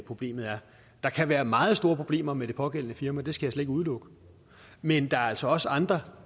problemet er der kan være meget store problemer med det pågældende firma det slet ikke udelukke men der er altså også andre